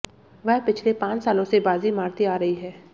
वह पिछले पांच सालों से बाजी मारती आ रही हैं